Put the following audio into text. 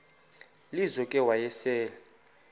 lizo ke wayesel